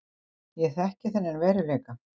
Ég þekki annan veruleika.